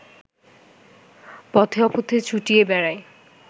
পথে অপথে ছুটিয়া বেড়ায়